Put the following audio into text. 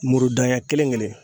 Muru da ɲɛ kelen kelen.